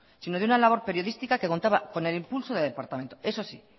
sino de una labor periodística que contaba con el impulso del departamento eso sí